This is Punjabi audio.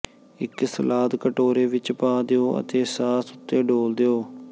ਇੱਕ ਸਲਾਦ ਕਟੋਰੇ ਵਿੱਚ ਪਾ ਦਿਓ ਅਤੇ ਸਾਸ ਉੱਤੇ ਡੋਲ੍ਹ ਦਿਓ